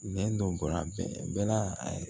Nɛn dɔ bɔra bɛɛ la a